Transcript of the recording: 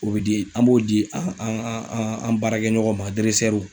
O bɛ di an b'o di an an an baarakɛ ɲɔgɔn ma